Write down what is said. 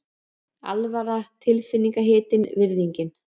Alvaran tilfinningahitinn, virðingin.